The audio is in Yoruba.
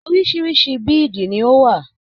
Orisirisi bíìdì ni ó wà.